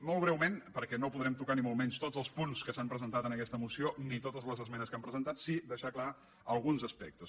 molt breument perquè no podrem tocar ni molt menys tots els punts que s’han presentat en aquesta moció ni totes les esmenes que han presentat però sí deixar clar alguns aspectes